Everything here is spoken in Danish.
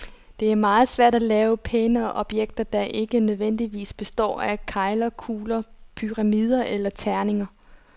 Det er meget svært at lave pæne objekter, der ikke nødvendigvis består af kegler, kugler, pyramider eller terninger.